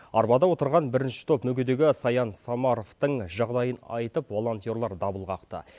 арбада отырған бірінші топ мүгедегі саян самаровтың жағдайын айтып волонтерлар дабыл қақты